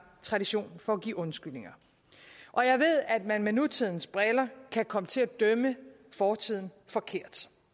tradition for at give undskyldninger og jeg ved at man gennem nutidens briller kan komme til at dømme fortiden forkert